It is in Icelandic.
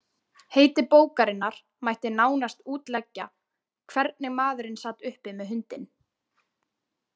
Heiti bókarinnar mætti nánast útleggja „Hvernig maðurinn sat uppi með hundinn.“